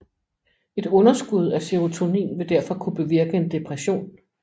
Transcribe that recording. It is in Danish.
Et underskud af serotonin vil derfor kunne bevirke en depression